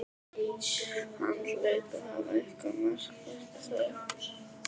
Hann hlaut að hafa eitthvað markvert að segja.